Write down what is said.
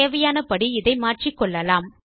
தேவையானபடி இதை மாற்றிக்கொள்ளலாம்